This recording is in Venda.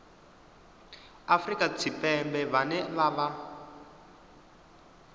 afrika tshipembe vhane vha vha